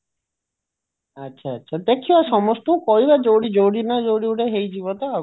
ଆଚ୍ଛା ଆଚ୍ଛା ଦେଖିବା ସମସ୍ତଙ୍କୁ କହିବା ଯୋଉଠି ଯୋଉଦିନ ଯୋଉଠି ଗୋଟେ ହେଇଯିବ ତ ଆଉ କଣ